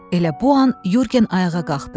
Elə bu an Yurgen ayağa qalxdı.